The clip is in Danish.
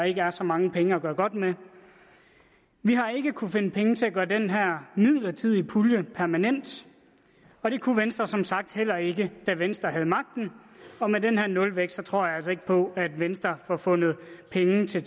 ikke er så mange penge at gøre godt med vi har ikke kunnet finde penge til at gøre den her midlertidige pulje permanent og det kunne venstre som sagt heller ikke da venstre havde magten og med den her nulvækst tror jeg altså ikke på at venstre får fundet penge til